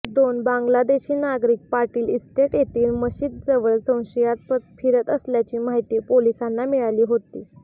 दोन बांगलादेशी नागरिक पाटील इस्टेट येथील मशिदीजवळ संशयास्पद फिरत असल्याची माहिती पोलिसांना मिळाली होती